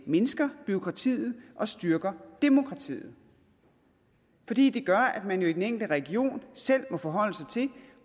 mindsker bureaukratiet og styrker demokratiet fordi det gør at man i den enkelte region selv må forholde sig til